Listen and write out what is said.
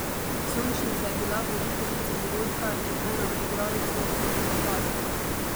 Sončnica je bila voditeljica dogodka in ena od igralcev v predstavi.